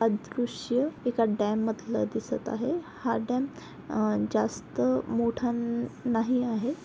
अदृश्य एका डॅम मधलं दिसत आहे. हा डॅम आं जास्त मोठा न नाही आहे.